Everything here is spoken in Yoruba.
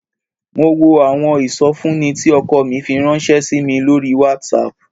Mo wo àwọn ìsọfúnni tí ọkọ mi fi ránṣẹ́ sí mi lórí WhatsApp